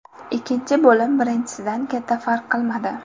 Ikkinchi bo‘lim birinchisidan katta farq qilmadi.